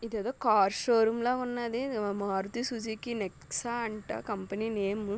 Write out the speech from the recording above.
ఇదేదో car showroom లాగున్నది Maruti Suzuki అంట కంపెనీ నేము .